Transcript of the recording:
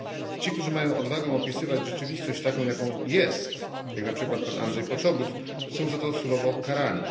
Ci, którzy mają odwagę opisywać rzeczywistość taką, jaka jest jak np. pan Andrzej Poczobut są za to surowo karani.